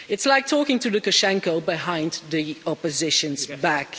It's like talking to Lukashenko behind the opposition's back.